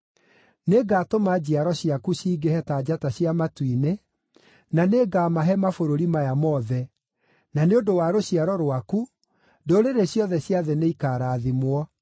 Nĩngatũma njiaro ciaku cingĩhe ta njata cia matu-inĩ na nĩngamahe mabũrũri maya mothe, na nĩ ũndũ wa rũciaro rwaku, ndũrĩrĩ ciothe cia thĩ nĩikarathimwo,